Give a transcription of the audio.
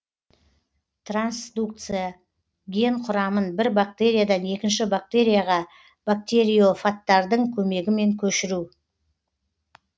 трансдукция ген кұрамын бір бактериядан екінші бактерияға бактериофаттардың көмегімен көшіру